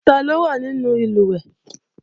Taló wà nínú ìlùwẹ̀ẹ̀?